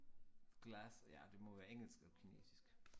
Glass ja det må være engelsk og kinesisk